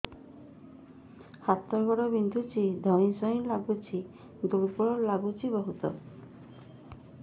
ହାତ ଗୋଡ ବିନ୍ଧୁଛି ଧଇଁସଇଁ ଲାଗୁଚି ଦୁର୍ବଳ ଲାଗୁଚି ବହୁତ